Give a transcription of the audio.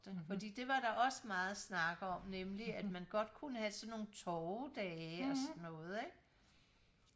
fordi det var der også meget snak om nemlig at man godt kunne have sådan nogle torvedage og sådan noget ikke